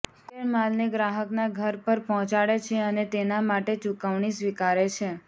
courier માલને ગ્રાહકના ઘર પર પહોંચાડે છે અને તેના માટે ચુકવણી સ્વીકારે છે